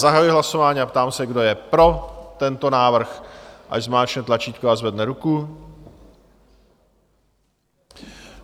Zahajuji hlasování a ptám se, kdo je pro tento návrh, ať zmáčkne tlačítko a zvedne ruku.